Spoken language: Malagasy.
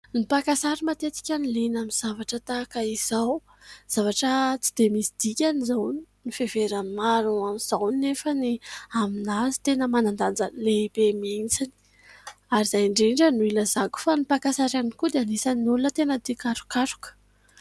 Ny mpakasary matetika no liana amin'ny zavatra tahaka izao. Zavatra tsy dia misy dikany izao no fiheveran'ny maro an'izao, nefa aminazy tena manan-danja lehibe mihitsy ; ary izay indrindra no hilazako fa ny mpakasary ihany koa dia tena anisan'ny olona tia karokaroka.